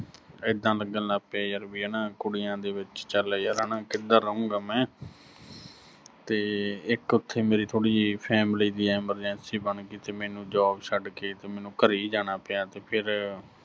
ਐਦਾਂ ਲੱਗਣ ਲੱਗ ਪਿਆ ਯਰ ਵੀ ਹਨਾ, ਕੁੜੀਆਂ ਦੇ ਵਿੱਚ ਚੱਲ ਯਰ ਹਨਾ ਕਿੱਧਰ ਰਹੂੰਗਾ ਮੈਂ, ਤੇ ਇੱਕ ਓਥੇ ਮੇਰੀ ਥੋੜ੍ਹੀ ਜੀ family ਦੀ emergency ਬਣ ਗੀ ਸੀ ਤੇ ਮੈਨੂੰ job ਛੱਡ ਕੇ ਤੇ ਮੈਨੂੰ ਘਰੇ ਹੀ ਜਾਣਾ ਪਿਆ ਤੇ ਫਿਰ